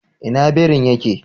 Ina birin ya ke?